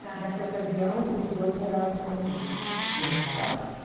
Tá. Nessa ocasião, os dois moravam em Bauru, meus pais.